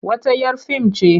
Wata 'yar fim ce.